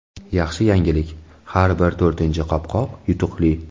Yaxshi yangilik: har bir to‘rtinchi qopqoq yutuqli.